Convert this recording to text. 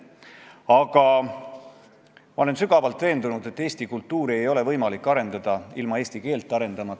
Keskerakonna fraktsioon tahab, et eelnõu saaks tagasi lükatud, ja palub, et ka teised saalis olijad mõtleksid selle peale, millise hinnangu annab sellele ühiskond, ja teeksid sedasama.